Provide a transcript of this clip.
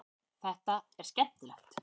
Þetta er skemmtilegt.